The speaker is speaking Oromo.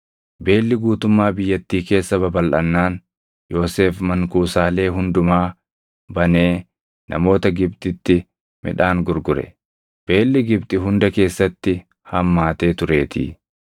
Beelli guutuummaa biyyattii keessa babalʼannaan Yoosef mankuusaalee hundumaa banee namoota Gibxitti midhaan gurgure; beelli Gibxi hunda keessatti hammaatee tureetii.